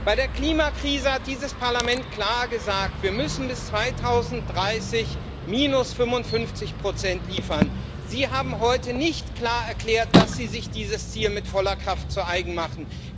Bei der Klimakrise hat dieses Parlament klar gesagt, dass wir bis 2030 minus 55 liefern müssen. Sie haben heute nicht klar erklärt, dass Sie sich dieses Ziel mit voller Kraft zu eigen machen.